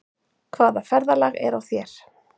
Hvaða ferðalag er á þér?